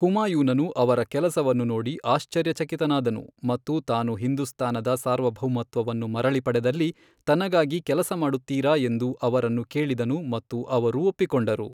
ಹುಮಾಯೂನನು ಅವರ ಕೆಲಸವನ್ನು ನೋಡಿ ಆಶ್ಚರ್ಯಚಕಿತನಾದನು ಮತ್ತು ತಾನು ಹಿಂದೂಸ್ತಾನದ ಸಾರ್ವಭೌಮತ್ವವನ್ನು ಮರಳಿ ಪಡೆದಲ್ಲಿ ತನಗಾಗಿ ಕೆಲಸ ಮಾಡುತ್ತೀರಾ ಎಂದು ಅವರನ್ನು ಕೇಳಿದನು ಮತ್ತು ಅವರು ಒಪ್ಪಿಕೊಂಡರು.